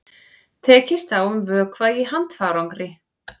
Tekist á um vökva í handfarangri